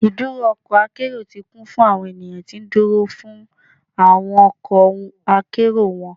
Iduro ọkọ akero ti kun fun awọn eniyan ti nduro fun awọn ọkọ akero wọn